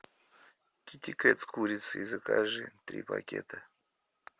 китикет с курицей закажи три пакета